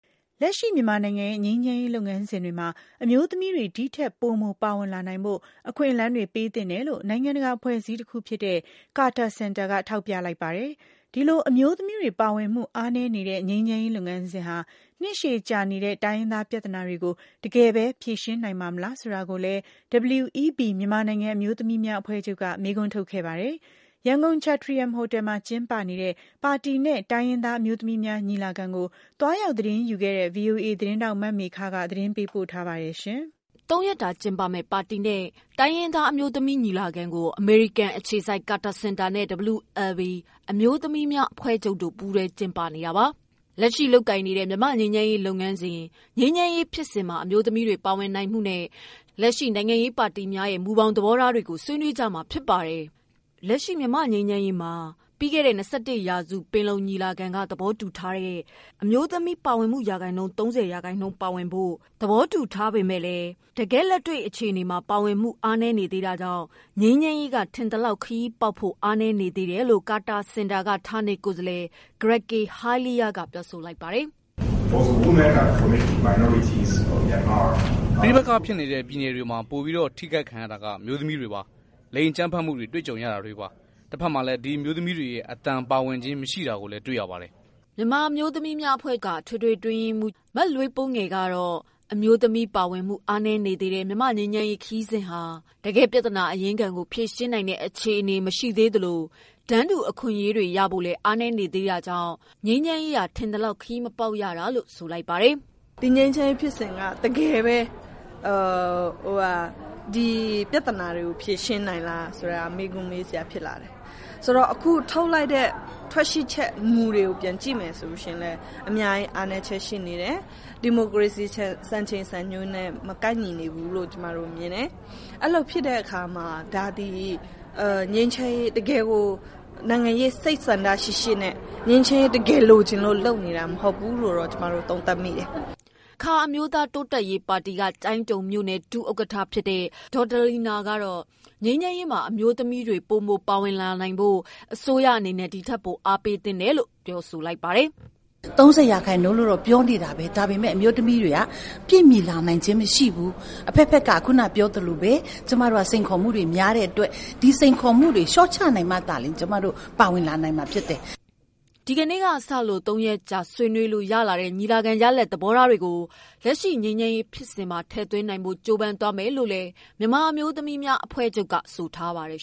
လက်ရှိ မြန်မာနိုင်ငံရဲ့ ငြိမ်းချမ်းရေးလုပ်ငန်းစဉ်တွေမှာ အမျိုးသမီးတွေ ဒီထက် ပိုမိုပါဝင်လာနိုင်ဖို့ အခွင့်အလမ်းတွေ ပေးသင့်တယ်လို့ နိုင်ငံတကာ အဖွဲ့အစည်းတခုဖြစ်တဲ့ Carter Center က ထောက်ပြ လိုက်ပါတယ်။ ဒီလို အမျိုးသမီးတွေ ပါဝင်မှု အားနည်းနေတဲ့ ငြိမ်းချမ်းရေးလုပ်ငန်းစဉ်ဟာ နှစ်ရှည်ကြာနေတဲ့တိုင်းရင်းသားပြဿနာတွေကို တကယ်ပဲ ဖြေရှင်းနိုင် ပါ့မလားဆိုတာကိုလည်း WLB အမျိုးသမီးများအဖွဲ့ချုပ် က မေးခွန်း ထုတ်ခဲ့ပါတယ်။ ရန်ကုန် ချက်ထရီယန်ဟိုတယ်မှာ ကျင်းပနေတဲ့ ပါတီနဲ့ တိုင်းရင်းသားအမျိုးသမီးများညီလာခံကို သွားရောက်သတင်းယူခဲ့တဲ့ ဗွီအိုအေ သတင်းထောက် မမေခ သတင်းပေးပို့ထားပါတယ်။ သုံးရက်တာ ကျင်းပမယ့် ပါတီနဲ့ တိုင်းရင်းသား အမျိုးသမီးညီလာခံကို အမေရိကန်အခြေစိုက် Carter Center နဲ့ WLB အမျိုးသမီးများအဖွဲ့ချုပ် တို့ ပူးတွဲ ကျင်းပနေတာပါ။ လက်ရှိလုပ်ကိုင်နေတဲ့ မြန်မာ့ငြိမ်းချမ်းရေးလုပ်ငန်းစဉ်၊ ငြိမ်းချမ်းရေးဖြစ်စဉ်မှာ အမျိုးသမီးတွေ ပါဝင်နိုင် မှုနဲ့ လက်ရှိနိုင်ငံရေးပါတီများရဲ့မူဘောင်သဘောထား တွေကို ဆွေးနွေးကြမှာဖြစ်ပါတယ်။ လက်ရှိမြန်မာ့ငြိမ်းချမ်းရေးမှာ အမျိုးသမီး ပါဝင်မှု ရာခိုင်နှုန်း ၃၀ ပါဝင်ဖို့ ပြီးခဲ့တဲ့ ၂၁ ရာစုပင်လုံညီလာခံမှာ သဘောတူထားပေမယ့် တ ကယ့်လက်တွေ့အခြေအနေမှာ ပါဝင်မှုအားနည်းနေသေးတာကြောင့် ငြိမ်းချမ်းရေးက ထင်သလောက် ခရီးပေါက်ဖို့ အားနည်းနေတယ်လို့ ကာတာစင်တာက ဌာနေကိုယ်စားလှယ် ဂရက်ကေဟိုင်းလီးယား က ပြောဆိုလိုက်ပါတယ်။ "ပဋိပက္ခဖြစ်နေတဲ့ ပြည်နယ်တွေမှာ ပိုမိုထိခိုက်ခံရတာအမျိုးသမီးတွေပါ။ လိင် အကြမ်းဖက်မှုတွေကြုံ ရတာတွေပေါ့။ တဖက်ထဲမှာလည်း ဒီအမျိုးသမီးတွေ အသံပါဝင်ခြင်း မရှိတာတွေ့ရနေပါတယ်" WLB အမျိုးသမီးများအဖွဲ့ချုပ် က အထွေထွေ အတွင်းရေးမှူး လွေးပိုးငယ် ကတော့ အမျိုးသမီး ပါဝင်မှုအားနည်းနေသေးတဲ့ မြန်မာ့ငြိမ်းချမ်းရေးခရီးစဉ်ဟာ တကယ့်ပြဿနာအရင်းခံကို ဖြေရှင်းနိုင်တဲ့ အခြေအနေမရှိသေးသလို တန်းတူအခွင့်အရေးတွေ ရဖို့ အားနည်းနေသေးတာကြောင့် ငြိမ်းချမ်းရေး ကထင်သလောက် ခရီးမရောက်တာလို့ဆိုလိုက်ပါတယ်။ "ငြိမ်းချမ်းရေးခရီးစဉ်က တကယ်ဘဲပြဿနာတွေဖြေရှင်းနိုင်လားမေးခွန်းတွေရှိတယ်။ ထွက်ရှိလာတဲ့ မူတွေကိုကြည့်ရင် အများကြီးအားနည်းချက်တွေရှိနေသေးတယ်။ ဒီမိုကရေစီစံချိန်စံနှုန်းတွေနဲ့မကိုက် ညီနေဘူး။ ဒီတော့ခုအခြေအနေ ကနိုင်ငံရေး စိတ်ဆန္ဒတခုနဲ့ သေချာစွာငြိမ်းချမ်းလိုလို့ လုပ်နေတာမ ဟုတ်ဘူးလို့ သုံးသပ်မိပါတယ်" အခါအမျိုးသားတိုးတက်ရေးပါတီက ကျိုင်းတုံမြို့နယ်ဒုဥက္ကဌဖြစ်တဲ့ ဒေါ်ဒလီနာ ကတော့ ငြိမ်းချမ်းရေး မှာ အမျိုးသမီးတွေပိုမိုပါဝင်လာနိုင်ဖို့ အစိုးရအနေနဲ့ ဒီထပ်ပိုအားပေးဖို့ တောင်းဆိုလိုက်ပါတယ်။ "တန်းတူရေးပြောကြတယ်။ ၃၀ရာခိုင်နှုန်းပါဖို့ပြောကြတယ်။ တကယ်တမ်းကမပါဝင်လာနိုင်ဘူး။ ဒီတော့ ကျမတို့မှာစိန်ခေါ်မှုတွေများနေတယ်။ ဒီတော့ အစိုးရအနေနဲ့ ဒီစိန်ခေါ်မှုတွေလျော့နိုင် အောင် အမျိုးသမီးတွေဒီထပ်ပိုပါနိူင်အောင်စည်းရုံးလှုံဆော်ပေးဖို့လိုအပ်ပါတယ်" ဒီကနေ့ စ သုံးရက်ကြာ ဆွေးနွေးလို့ရလာတဲ့ ညီလာခံရလဒ်သဘောထားတွေကို လက်ရှိငြိမ်းချမ်းရေးဖြစ်စဉ်မှာထည့်သွင်းနိုင်ဖို့ ကြိုးစားသွားမယ်လို့ WLB အမျိုးသမီးများအဖွဲ့ချုပ် က ဆိုပါတယ်